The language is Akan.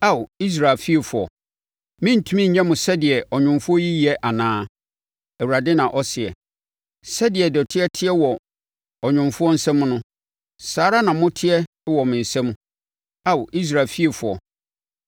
“Ao, Israel fiefoɔ, merentumi nyɛ mo sɛdeɛ ɔnwomfoɔ yi yɛ anaa?” Awurade na ɔseɛ. “Sɛdeɛ dɔteɛ teɛ wɔ ɔnwomfoɔ nsa mu no, saa ara na moteɛ wɔ me nsa mu, Ao Israel fiefoɔ.